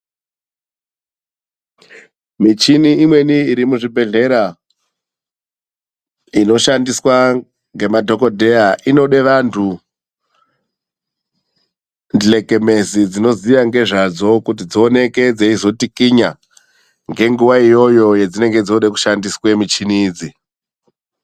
Michini imweni iri muzvibhedhlera inoshandiswa ngemadhokodheya ,inode vantu, ndlekemezi dzinoziya ngezvadzo kuti dzioneke dzeizotikinya ngenguwa iyoyo yedzinenge dzode kushandiswe michini idzi.